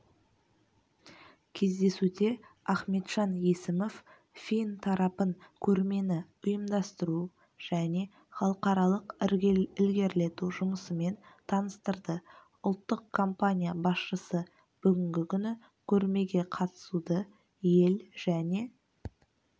кездесуде ахметжан есімов фин тарапын көрмені ұйымдастыру және халықаралық ілгерілету жұмысымен таныстырды ұлттық компания басшысы бүгінгі күні көрмеге қатысуды ел және